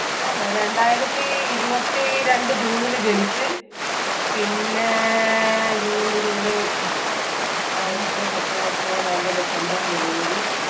ആന്നോ രണ്ടായിരത്തി ഇരുപത്തി രണ്ട് ജൂണിൽ ജനിച്ച് പിന്നെ June July August September October November December ജനുവരി